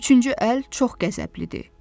Üçüncü əl çox qəzəblidir.